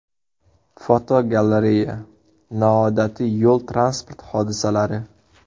Fotogalereya: Noodatiy yo‘l-transport hodisalari.